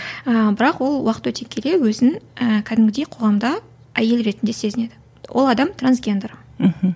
бірақ ол уақыт өте келе өзін ііі кәдімгідей қоғамда әйел ретінде сезінеді ол адам трансгендер мхм